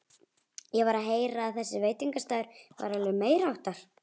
Ég var að heyra að þessi veitingastaður væri alveg meiriháttar!